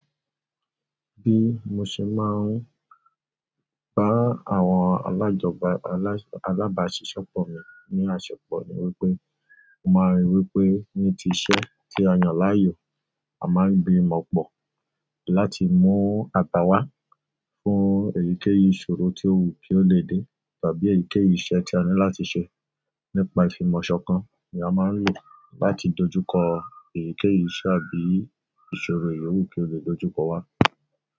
Bí mo ṣe máa ń bá àwọn alájọbá alase alábáṣiṣẹ́ pọ̀ mi ní àsepọ̀ ni wípé, mo máa rí wípé ní ti iṣẹ́ tí a yàn láàyò, a máa ń gbimọ̀ pọ̀ láti mú aba wá fún èyíkéyìí ìṣòro tí ó wù kí ó lè dé tàbí èyíkéyìí iṣẹ́ tí a ní láti ṣe nípa ìfimọ̀ṣọkan, ni à máa ń lò láti dojúkọ èyíkéyìí iṣẹ́ àbí ìṣòro yoowù kí ó lè dojúkọ wá.